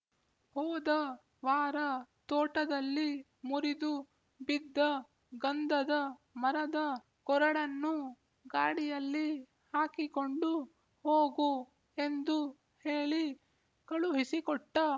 ಹೋದ ವಾರ ತೋಟದಲ್ಲಿ ಮುರಿದು ಬಿದ್ದ ಗಂಧದ ಮರದ ಕೊರಡನ್ನೂ ಗಾಡಿಯಲ್ಲಿ ಹಾಕಿಕೊಂಡು ಹೋಗು ಎಂದು ಹೇಳಿ ಕಳುಹಿಸಿಕೊಟ್ಟ